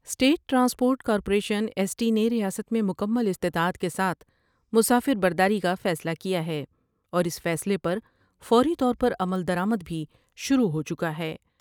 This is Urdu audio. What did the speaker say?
State transport corporation S T نے ریاست میں مکمل استطاعت کے ساتھ مسافر برداری کا فیصلہ کیا ہے اور اس فیصلے پر فوری طور پر عمل درآمد بھی شروع ہو چکا ہے ۔